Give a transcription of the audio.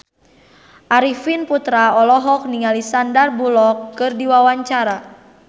Arifin Putra olohok ningali Sandar Bullock keur diwawancara